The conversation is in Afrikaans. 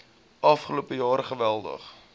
afgelope jaar geweldig